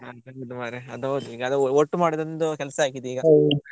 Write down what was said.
ಅದ್ ಹೌದು ಮಾರೆ ಅದ್ ಹೌದು ಈಗ ಒ~ ಒಟ್ಟು ಮಾಡುದೊಂದು ಕೆಲ್ಸ ಆಗಿದೆ ಈಗ.